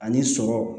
Ani sɔ